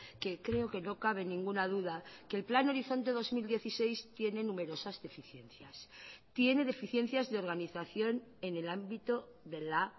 que creo que no cabe ninguna duda que el plan horizonte dos mil dieciséis tiene numerosas deficiencias tiene deficiencias de organización en el ámbito de la